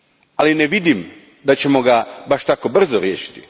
Ali, ne vidim da ćemo ga baš tako brzo riješiti.